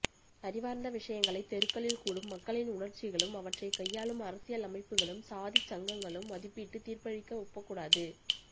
அறிவார்ந்த விஷயங்களை தெருக்களில் கூடும் மக்களின் உணர்ச்சிகளும் அவற்றைக் கையாளும் அரசியல் அமைப்புகளும் சாதிச்சங்கங்களும் மதிப்பிட்டு தீர்ப்பளிக்க ஒப்பக்கூடாது